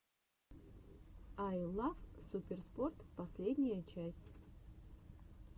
ай лав суперспорт последняя часть